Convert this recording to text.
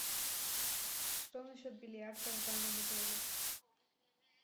что насчет бильярда в данном отеле